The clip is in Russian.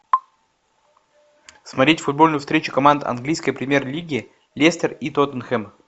смотреть футбольную встречу команд английской премьер лиги лестер и тоттенхэм